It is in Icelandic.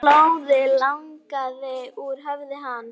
Blóðið lagaði úr höfði hans.